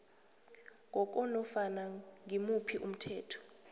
ngokwanofana ngimuphi umthetho